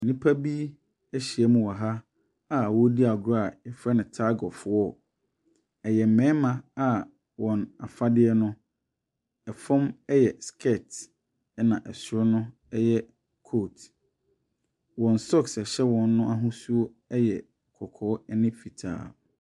Nnipa bi ahyiam wɔ ha a wɔredi agorɔ a wɔfrɛ no tag of war. Ɛyɛ mmarima a wɔn afadeɛ no ɛfam yɛ skirt. Na ɛsoro no yɛ coat. Wɔn socks a ɛhyɛ wɔn wɔn no ahosuo yɛ kɔkɔɔ ne fitaa.